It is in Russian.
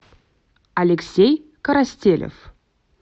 алексей коростелев